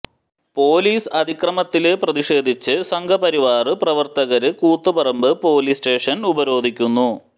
police അതിക്രമത്തില് പ്രതിഷേധിച്ച് സംഘപരിവാര് പ്രവര്ത്തകര് കൂത്തുപറമ്പ് പോലീസ് സ്റ്റേഷന് ഉപരോധിക്കുന്നു